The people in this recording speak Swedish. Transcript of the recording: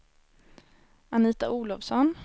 Anita Olovsson